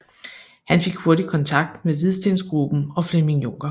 Han fik hurtigt kontakt med Hvidstengruppen og Flemming Juncker